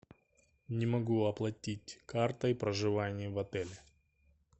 не могу оплатить картой проживание в отеле